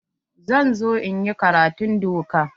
Zan zo in yi karatun doka.